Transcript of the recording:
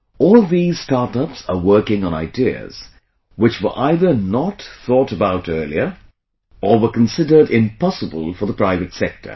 All these startups are working on ideas, which were either not thought about earlier, or were considered impossible for the private sector